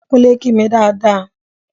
Kúnlẹ̀ kí mi dáa dáa!